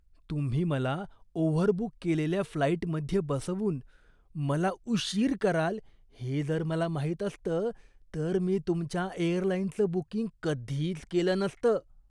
तुम्ही मला ओव्हरबुक केलेल्या फ्लाइटमध्ये बसवून मला उशीर कराल हे जर मला माहीत असतं तर मी तुमच्या एअरलाइनचं बुकिंग कधीच केलं नसतं.